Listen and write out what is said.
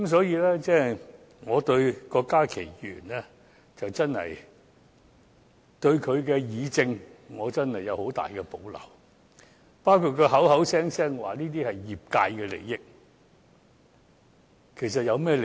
因此，我對郭家麒議員的議政能力有很大保留，包括他聲稱這是業界的利益，其實有甚麼利益？